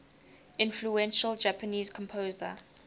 influential japanese composer